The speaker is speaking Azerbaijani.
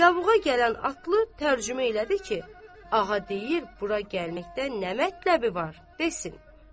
Yavuqa gələn atlı tərcümə elədi ki, ağa deyir bura gəlməkdən nə mətəbi var, desin.